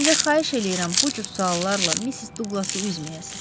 Ancaq xahiş eləyirəm, bu cür suallarla Missis Douglası üzməyəsiz.